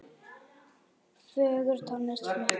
Fögur tónlist flutt.